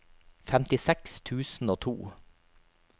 femtiseks tusen og to